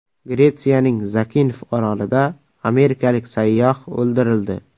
Gretsiyaning Zakinf orolida amerikalik sayyoh o‘ldirildi.